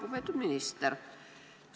Lugupeetud minister!